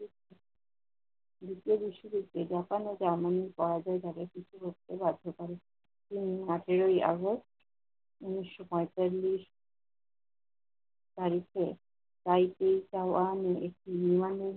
দ্বিতীয় বিশ্বযুদ্ধে জাপান ও জার্মানি পরাজয় তাকে পিছু হটতে বাধ্য করে। তিনি আটই august উনিশশো পঁয়তাল্লিশ তারিখে তার পিতা আহাম্মেদ একটি নির্মমভাবে